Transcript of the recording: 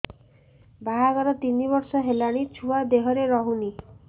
ବାହାଘର ତିନି ବର୍ଷ ହେଲାଣି ଛୁଆ ଦେହରେ ରହୁନି